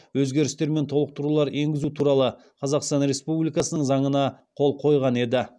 өзгерістер мен толықтырулар енгізу туралы қазақстан республикасының заңына қол қойған еді